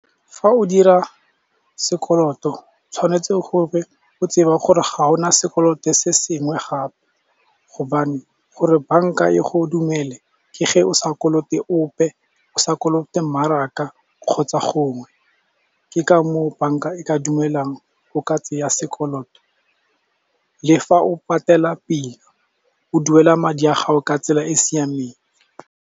Fa o dira sekoloto tshwanetse gore o tsebe gore ga ona sekoloto se sengwe gape, gobane gore bank-a e go dumele ke ge o sa kolote ope o sa kolote mmaraka kgotsa gongwe. Ke ka moo bank-a e ka dumelang o ka tseya sekoloto. Le fa o patela pele o duela madi a gago ka tsela e e siameng.